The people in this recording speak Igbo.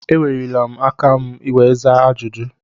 E weliri m aka ka m wee zaa ajụjụ.